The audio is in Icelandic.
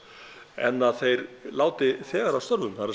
en að þeir láti þegar af störfum það